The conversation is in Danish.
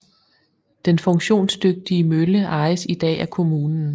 Den funktionsdygtige mølle ejes i dag af kommunen